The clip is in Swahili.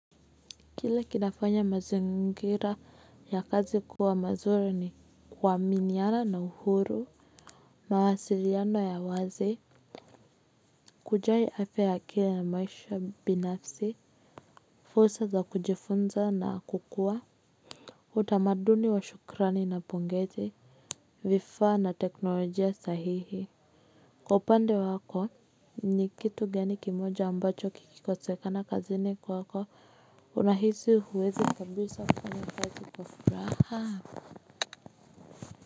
Kile kinafanya mazingira ya kazi kuwa mazuri ni kuaminiana na uhuru. Mawasiliano ya wazi. Kujali afya ya kila na maisha binafsi. Fursa za kujifunza na kukua. Utamaduni wa shukrani na pongezi. Vifaa na teknolojia sahihi. Kwa upande wako ni kitu gani kimoja ambacho kikikosekana kazini kwako una hisi huwezi kabisa kufanya kazi kwa furaha.